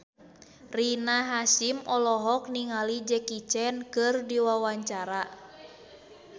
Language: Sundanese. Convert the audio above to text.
Rina Hasyim olohok ningali Jackie Chan keur diwawancara